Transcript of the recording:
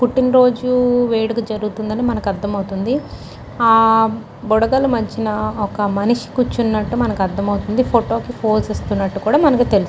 పుట్టినరోజు వేడుక జరుగుతుందని మనకి అర్థమవుతుంది. ఆ బుడగల మధ్యన ఒక మనిషి కూర్చున్నట్టు మనకి అర్థం అవుతుంది. ఫోటో కి ఫోజిస్తున్నట్టుగా కూడా తెలుస్తుంది.